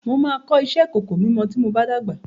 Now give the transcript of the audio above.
Mo máa kọ́ iṣẹ́ ìkòkò mímọ tí mob á dàgbà.